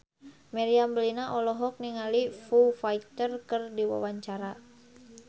Meriam Bellina olohok ningali Foo Fighter keur diwawancara